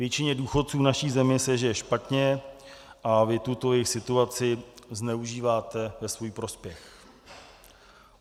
Většině důchodců v naší zemi se žije špatně a vy tuto jejich situaci zneužíváte ve svůj prospěch.